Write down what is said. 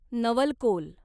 नवलकोल